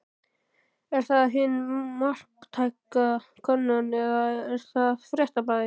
Er það hin marktæka könnun eða er það Fréttablaðið?